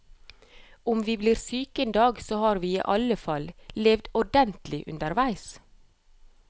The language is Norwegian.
Om vi blir syke en dag, så har vi i alle fall levd ordentlig underveis.